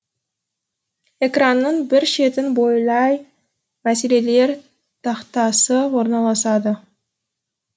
экранның бір шетін бойлай мәселелер тақтасы орналасады